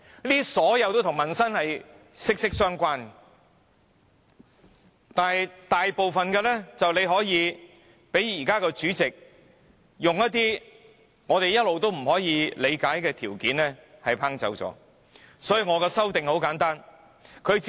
這些均與民生息息相關，但現時大部分均可被主席以一些我們一直不能理解的條件否決而不能提出。